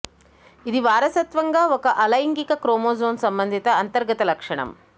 ఇది వారసత్వంగా ఒక అలైంగిక క్రోమోజోమ్ సంబంధిత అంతర్గత లక్షణము